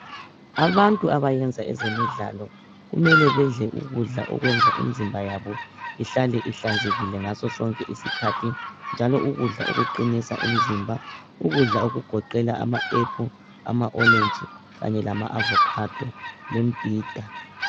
Abantu abayenza ezemidlalo kumele bedle ukudla okwenza imizimba yabo ihlale ihlanzekile ngaso sonke isikhathi njalo u ukudla okuqinisa imizimba ukudla okugoqela ama aphulu, ama orantshi kanye lama avokhado lemibhida.